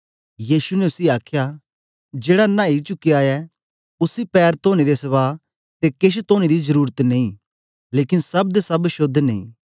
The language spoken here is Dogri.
यीशु ने उसी आखया जेड़ा नाई चुक्या ऐ उसी पैर तोने दे सवा ते केश तोने दी जरुरत नेई लेकन सब दे सब शोद्ध नेई